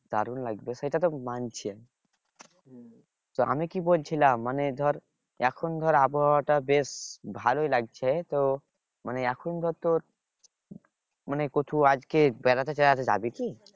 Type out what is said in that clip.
দারুন লাগবে সেটা তো মানছি তো আমি কি বলছিলাম মানে ধর এখন ধর আবহাওয়া টা বেশ ভালোই লাগছে তো মানে এখন ধর তোর মানে কোথাও আজকে বেড়াতে টেড়াতে যাবি কি?